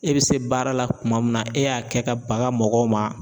E bi se baara la tuma min na, e y'a kɛ ka bagan mɔgɔw ma